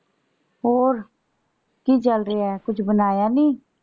ਹੋਰ ਕੀ ਚੱਲ ਰਿਹਾ ਹੈ। ਕੁੱਝ ਬਣਾਇਆ ਨੀ?